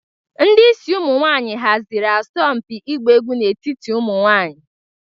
Ndị isi ụmụ nwanyị haziri asọmpi ịgba egwu n'etiti ụmụ nwanyị.